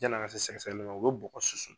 Janni an ka se sɛgɛ sɛgɛli man u bɛ bɔgɔ susu.